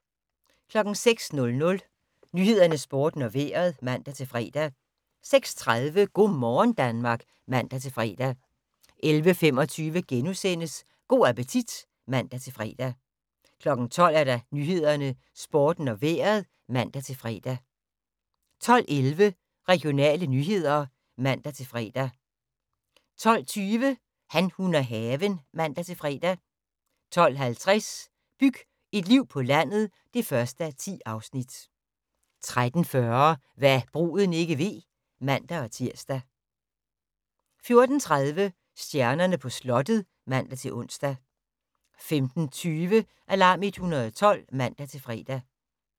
06:00: Nyhederne, Sporten og Vejret (man-fre) 06:30: Go' morgen Danmark (man-fre) 11:25: Go' appetit *(man-fre) 12:00: Nyhederne, Sporten og Vejret (man-fre) 12:11: Regionale nyheder (man-fre) 12:20: Han, hun og haven (man-fre) 12:50: Byg et liv på landet (1:10) 13:40: Hva' bruden ikke ved (man-tir) 14:30: Stjernerne på slottet (man-ons) 15:20: Alarm 112 (man-fre)